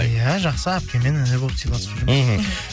иә жақсы әпке мен іні болып сыйласып жүрміз іхі